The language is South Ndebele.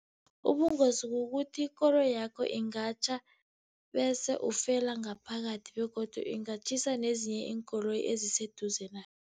Ubungozi kukuthi ikoloyakho ingatjha, bese ufela ngaphakathi, begodu ingatjhisa nezinye iinkoloyi eziseduze nayo.